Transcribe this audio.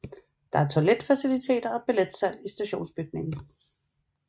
Der er toiletfaciliteter og billetsalg i stationsbygningen